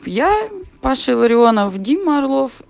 я пошаша ларионов дима орлов